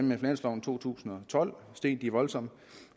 med finansloven to tusind og tolv steg de voldsomt